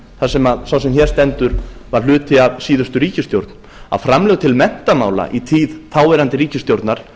þar sem sá sem hér stendur var hluti af síðustu ríkisstjórn að framlög til menntamála í tíð þáverandi ríkisstjórnar